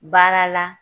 Baara la